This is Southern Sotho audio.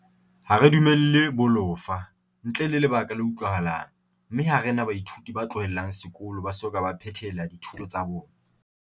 Ha re dumelle bolofa, ntle le lebaka le utlwahalang, mme ha re na baithuti ba tlohelang sekolo ba soka ba phethela dithuto tsa bona.